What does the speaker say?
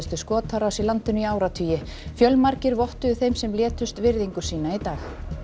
skotárás í landinu í áratugi fjölmargir vottuðu þeim sem létust virðingu sína í dag